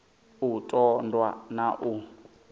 u ṱun ḓwa na u